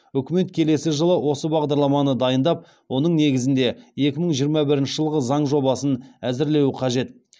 үкімет келесі жылы осы бағдарламаны дайындап оның негізінде екі мың жиырма бірінші жылғы заң жобасын әзірлеуі қажет